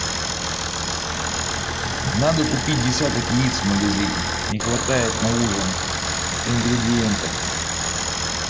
надо купить десяток яиц в магазине не хватает на ужин ингредиентов